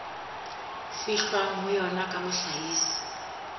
fihlwang ho yona ya mohlahisi